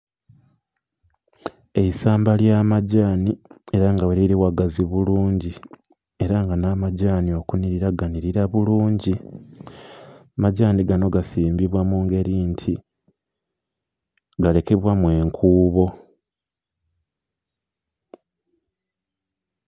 Eisamba ly' amadhaani era nga gheliri ghagazi bulungi era nga namadhaani okunilira ganilira bulungi, amadhaani gano gasimbibwa mungeri nti, galekebwamu enkuubo